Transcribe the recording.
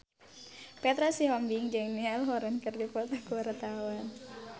Petra Sihombing jeung Niall Horran keur dipoto ku wartawan